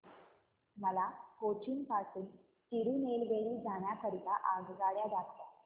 मला कोचीन पासून तिरूनेलवेली जाण्या करीता आगगाड्या दाखवा